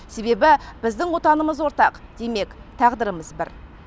себебі біздің отанымыз ортақ демек тағдырымыз бір